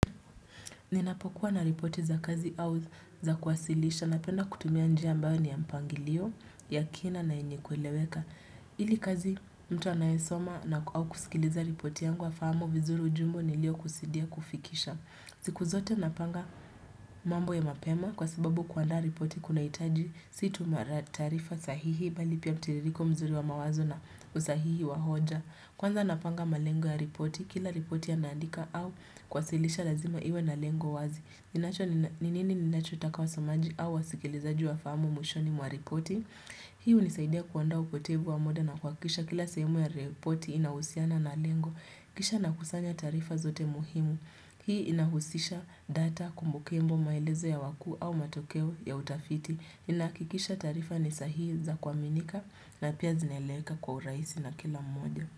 Ninapokuwa na ripoti za kazi au za kuwasilisha napenda kutumia njia ambayo ni ya mpangilio ya kina na yenye kueleweka. Ili kazi mtu anayesoma na au kusikiliza ripoti yangu afahamu vizuri ujumbe nilio kusudia kufikisha. Siku zote napanga mambo ya mapema kwa sababu kuandaa ripoti kunahitaji si tu taarifa sahihi bali pia mtiririko mzuri wa mawazo na usahihi wa hoja. Kwanza napanga malengo ya ripoti, kila ripoti naandika au kuwasilisha lazima iwe na lengo wazi. Ninacho ni nini ninachotaka wasomaji au wasikilize juu ya fahamu mwishoni mwa ripoti. Hii unisaidia kuandaa upotevu wa muda na kuhakikisha kila sehemu ya ripoti inahusiana na lengo. Kisha nakusanya taarifa zote muhimu. Hii inahusisha data kumbukumbu maelezo ya wakuu au matokeo ya utafiti. Inahakikisha taarifa ni sahihi za kuaminika na pia zinaeleweka kwa urahisi na kila mmoja.